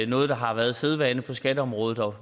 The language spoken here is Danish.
noget der har været sædvane på skatteområdet